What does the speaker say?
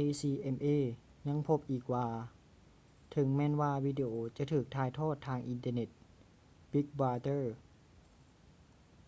acma ຍັງພົບອີກວ່າ ເຖິງແມ່ນວ່າວິດີໂອຈະຖືກຖ່າຍທອດທາງອິນເຕີເນັດ big brother